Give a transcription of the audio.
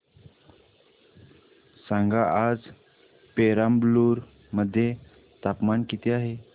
सांगा आज पेराम्बलुर मध्ये तापमान किती आहे